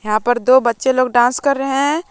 यहां पर दो बच्चे लोग डांस कर रहे हैं।